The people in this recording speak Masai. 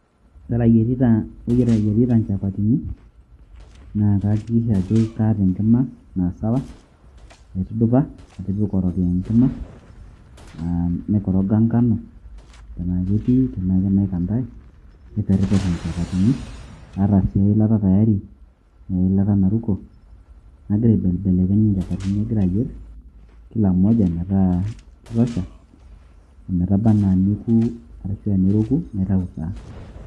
Ore ayierita inchapatini, naa naakikisha ajo kaata enkima na sawa. Aitudupa atipika orokiyo enkima, ah naikoroga nkanu, ena ketii, ena kanaikantai. Naiperper inchapatini. Aata si eilata tayari, na eilata naruko. Nagira aibelbelekeny inchapatini agira ayier, kila moja ,metaa kitosha. Ometaba naa neoku arashu a neroku, naitau taa.